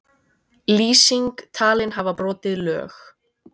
Lýsing talin hafa brotið lög